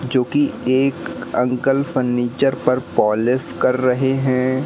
जो की एक अंकल फर्नीचर पर पॉलिस कर रहे है।